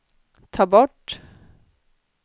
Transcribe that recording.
ta bort